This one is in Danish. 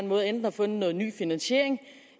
måde enten har fundet noget ny finansiering